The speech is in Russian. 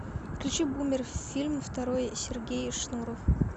включи бумер фильм второй сергей шнуров